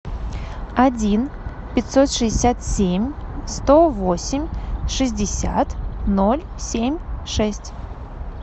один пятьсот шестьдесят семь сто восемь шестьдесят ноль семь шесть